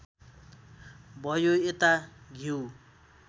भयो यता घ्यू